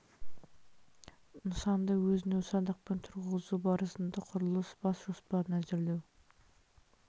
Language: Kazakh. нысанды өзін-өзі садақпен тұрғызу барысында құрылыс бас жоспарын әзірлеу